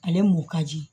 Ale mɔ ka di